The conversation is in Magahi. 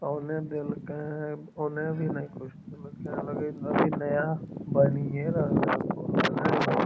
औने देल्के हेय औने भी कुछ लगे हेय अभी नया बेनिए रहले ने होअ।